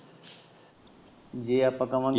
ਜੇ ਆਪਾਂ ਕਵਾ।